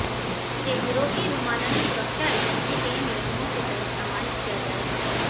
इसे यूरोपीय विमानन सुरक्षा एजेंसी केनियमों के तहत प्रमाणित किया जाएगा